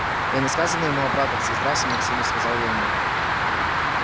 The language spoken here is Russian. я несказанно ему обрадовался здравствуй максимыч сказал я ему